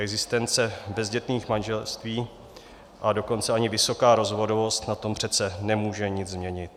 Existence bezdětných manželství, a dokonce ani vysoká rozvodovost na tom přece nemůže nic změnit.